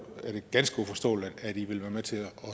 er det ganske uforståeligt at i vil være med til at